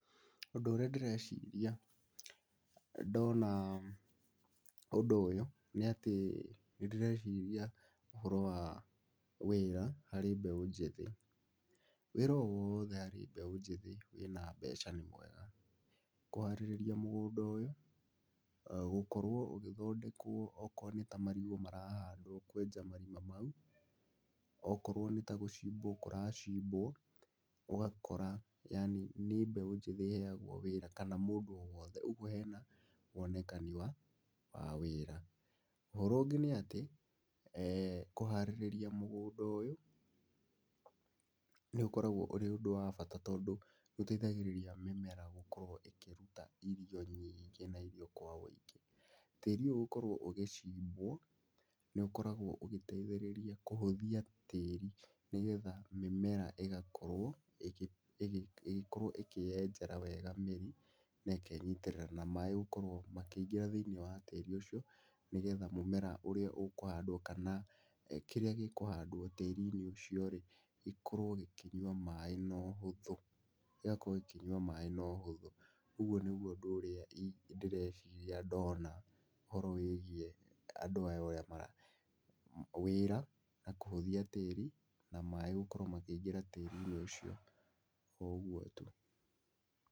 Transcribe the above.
Ũndũ ũrĩa ndĩreciria ndona ũndũ ũyũ nĩ atĩ nĩndĩreciria ũhoro wa wĩra harĩ mbeũ njĩthĩ. Wĩra wothe harĩ mbeũ njĩthĩ wĩna mbeca nĩ mwega. Kũharĩrĩria mũgũnda ũyũ, gũkorwo ũgĩthondekwo okoo nĩ ta marigũ marahandwo kwenja marima mau, okorwo nĩtagũcimbwo kũracimbwo ũgakora yaani nĩ mbeũ njĩthĩ ĩheyagwo wĩra, kana mũndũ owothe ũguo hena wonekani wa, wa wĩra. Ũhoro ũngĩ nĩ atĩ kũharĩrĩria mũgũnda ũyũ nĩũkoragwo ũrĩ ũndũ wa bata, tondũ nĩũteithagĩrĩria mĩmera gũkorwo ĩkĩruta irio nyingĩ na irio kwa wĩingĩ. Tĩĩri ũyũ gũkorwo ũgĩcimbwo nĩũkoragwo ũgĩteithĩrĩria kũhũthia tĩĩri, nĩgetha mĩmera ĩgakorwo ĩgĩ, ĩgĩ, ĩgĩkorwo ĩkĩyenjera wega mĩri, nekenyitĩrĩra na maaĩ gũkorwo makĩingĩra thĩiniĩ wa tĩirĩ ũcio, nĩgetha mũmera ũrĩa ũkũhandwo kana kĩrĩa gĩkũhandwo tĩĩri-inĩ ũcio-rĩ, gĩkorwo gĩkĩnyua maaĩ nohũthũ, gĩgakorwo gĩkĩnyua maaĩ nohũthũ. Ũguo nĩguo ũndũ ũrĩa ii, ndĩreciria ndona ũhoro wĩigiĩ andũ aya ũrĩa mara, wĩra, na kũhũthia tĩĩri, na maaĩ gũkorwo makĩingĩra tĩĩri-inĩ ũcio, oũguo tu.